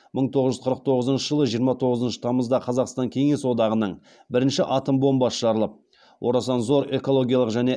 мың тоғыз жүз қырық тоңызыншы жылы жиырма тоңызыншы тамызда қазақстан кеңес одағының бірінші атом бомбасы жарылып орасан зор экологиялық және